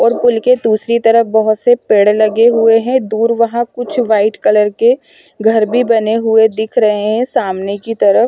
और पुल के दूसरी तरफ बहुत से पेड़ लगे हुए हैं दूर वहां कुछ व्हाईट कलर के घर भी बने हुए दिख रहे हैं सामने की तरफ।